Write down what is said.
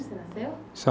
E aonde você nasceu?